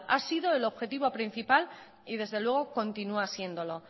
ha sido el objetivo principal y desde luego continúa siéndolo